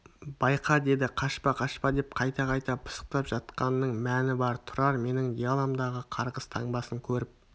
байқа деді қашпа қашпа деп қайта-қайта пысықтап жатқанының мәні бар тұрар менің диаламдағы қарғыс таңбасын көріп